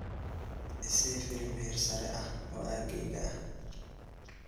i sii filim heersare ah oo aaggayga ah